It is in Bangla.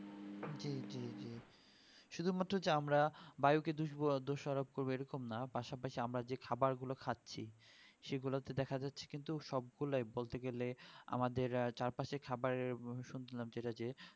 জি জি জি শুধুমাত্র যে আমরা বায়ুকে দুষবো আর দোষারোপ করবে এরকম না পাশাপাশি আমরা যে খাবার গুলো খাচ্ছি সেগুলাতে দেখা যাচ্ছে কিন্তু সবগুলাই বলতে গেলে আমাদের চারপাশে খাবারের শুনছিলাম যেটা যে